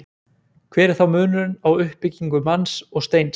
Hver er þá munurinn á uppbyggingu manns og steins?